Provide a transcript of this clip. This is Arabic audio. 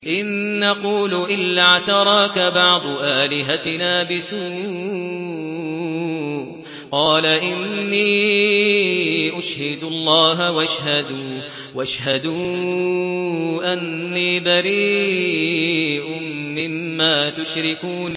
إِن نَّقُولُ إِلَّا اعْتَرَاكَ بَعْضُ آلِهَتِنَا بِسُوءٍ ۗ قَالَ إِنِّي أُشْهِدُ اللَّهَ وَاشْهَدُوا أَنِّي بَرِيءٌ مِّمَّا تُشْرِكُونَ